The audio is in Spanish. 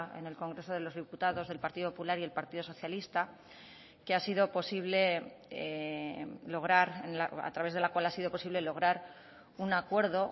en el congreso de los diputados del partido popular y el partido socialista que ha sido posible lograr a través de la cual ha sido posible lograr un acuerdo